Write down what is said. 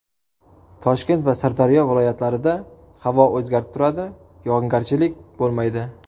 Toshkent va Sirdaryo viloyatlarida havo o‘zgarib turadi, yog‘ingarchilik bo‘lmaydi.